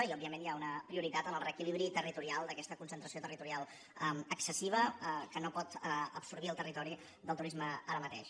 i òbviament hi ha una prioritat en el reequilibri territorial d’aquesta concentració territorial excessiva que no pot absorbir el territori del turisme ara mateix